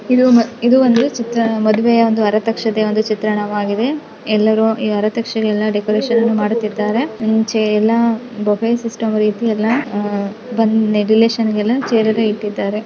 ಇದು ಮ ಇದು ಒಂದು ಮದುವೆಯ ಒಂದು ಅರತಕ್ಷತೆಯ ಚಿತ್ರಣವಾಗಿದೆ ಎಲ್ಲರು ಈ ಆರತಕ್ಷತೆಗೆ ಡೆಕೋರೇಷನ್ ಎಲ್ಲ ಮಾಡುತ್ತಿದ್ದಾರೆ ಮುಂಚೆಯಲ್ಲ ಬಫೆ ಸಿಸ್ಟಮ್ ಇರುತ್ತಿತ್ತು ರಿಲೇಶನ್ ಚೇರ್ ಹಾಕಿದ್ದಾರೆ.